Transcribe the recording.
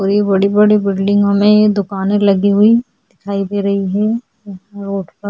बड़ी बड़ी बड़ी बड़ी बिल्डिंग में दुकाने लगी हुई दिखाई दे रही है रोड पर --